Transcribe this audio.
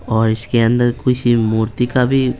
और इसके अंदर किसी मूर्ति का भी --